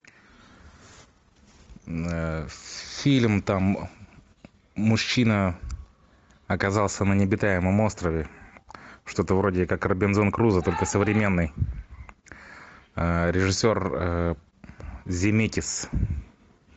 фильм там мужчина оказался на необитаемом острове что то вроде как робинзон крузо только современный режиссер земекис